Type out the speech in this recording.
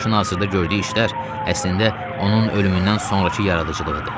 Başına hazırda gördüyü işlər əslində onun ölümündən sonrakı yaradıcılığıdır.